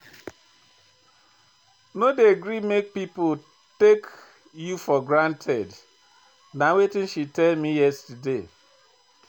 No dey gree make pipo take you for granted, na wetin she tell me yesterday.